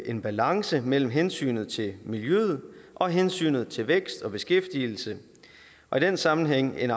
en balance mellem hensynet til miljøet og hensynet til vækst og beskæftigelse og i den sammenhæng en